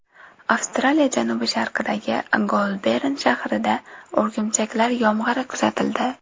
Avstraliya janubi-sharqidagi Goulbern shahrida o‘rgimchaklar yomg‘iri kuzatildi.